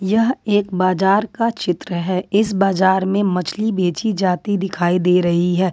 यह एक बाजार का चित्र है इस बाजार में मछली बेची जाती दिखाई दे रही है।